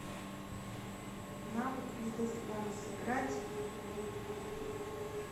навык лидозвон сыграть в